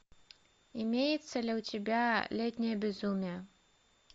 имеется ли у тебя летнее безумие